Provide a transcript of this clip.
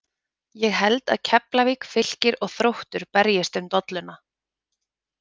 Ég held að Keflavík, Fylkir og Þróttur berjist um dolluna.